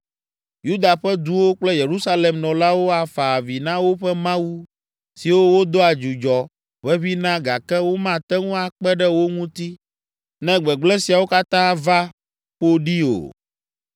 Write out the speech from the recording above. Yuda ƒe duwo kple Yerusalem nɔlawo afa avi na woƒe mawu siwo wodoa dzudzɔ ʋeʋĩ na gake womate ŋu akpe ɖe wo ŋuti ne gbegblẽ siawo katã va ƒo ɖi o.